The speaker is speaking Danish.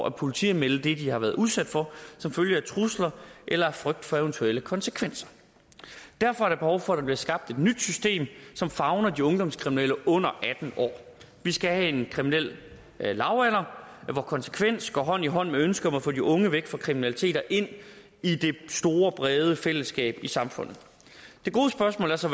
at politianmelde det de har været udsat for som følge af trusler eller af frygt for eventuelle konsekvenser derfor er der behov for at der bliver skabt et nyt system som favner de ungdomskriminelle under atten år vi skal have en kriminel lavalder hvor konsekvens går hånd i hånd med ønsket om at få de unge væk fra kriminalitet og ind i det store brede fællesskab i samfundet det gode spørgsmål er så